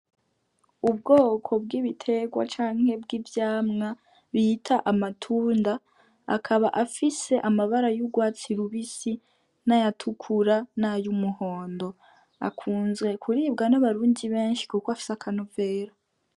Ubwoko bw'ibitegwa canke bw'ivyamwa bita amatunda, akaba afise amabara y'ugwatsi rubisi, n'ayatukura, n'ay'umuhondo. Akunzwe kuribwa n'abarundi benshi kuko afise akanovera.